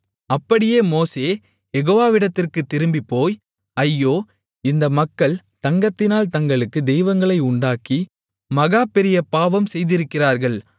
அப்படியே மோசே யெகோவாவிடத்திற்குத் திரும்பிப்போய் ஐயோ இந்த மக்கள் தங்கத்தினால் தங்களுக்குத் தெய்வங்களை உண்டாக்கி மகா பெரியபாவம் செய்திருக்கிறார்கள்